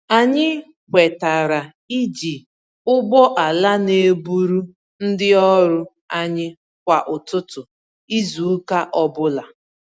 Anyị kwetara iji ụgbọala n'eburu ndị ọrụ anyị kwá ụtụtụ izu ụka ọbula